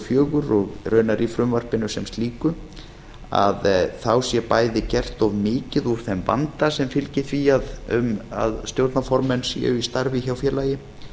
fjögur og raunar í frumvarpinu sem slíku sé bæði gert of mikið úr þeim vanda sem fylgir því að stjórnarformenn séu í starfi hjá félagi